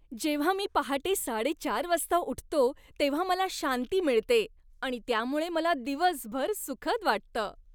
जेव्हा मी पहाटे साडेचार वाजता उठतो तेव्हा मला शांती मिळते आणि त्यामुळे मला दिवसभर सुखद वाटतं.